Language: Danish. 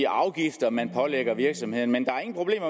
afgifter man pålægger virksomhederne men